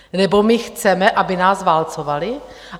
Nebo my chceme, aby nás válcovali?